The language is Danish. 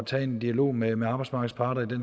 tage en dialog med med arbejdsmarkedets parter det